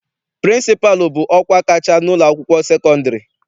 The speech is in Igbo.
Pịrịnsịpalụ bụ ọkwa kacha n'ụlọakwụkwọ sekọndịrị.